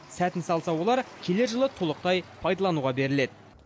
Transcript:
сәтін салса олар келер жылы толықтай пайдалануға беріледі